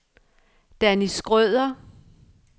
Danny Schrøder